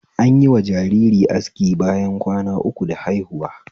Anyi wa jariri aski bayan kwana uku da haihuwa